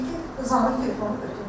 O da dedi ki, Zamiq telefonu götür.